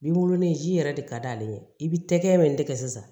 Bi wololen ji yɛrɛ de ka d'ale ye i bɛ tɛgɛ min tigɛ sisan